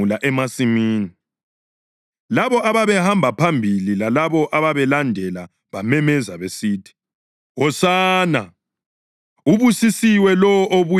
Labo ababehamba phambili lalabo ababelandela bamemeza besithi, “Hosana!” + 11.9 AmaHubo 118.25-26 “Ubusisiwe lowo obuya ngebizo leNkosi!”